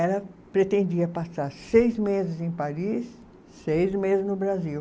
Ela pretendia passar seis meses em Paris, seis meses no Brasil.